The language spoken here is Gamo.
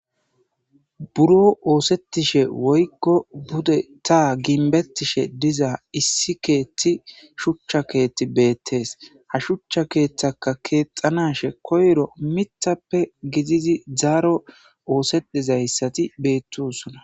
buro oosettishe woykko bude ta ginbettishe diza issi keethti shuchcha keetti beettees ha shuchcha keeththaka keexanashe koyro mithappe gidizi zaaro oosetizayssati beettusona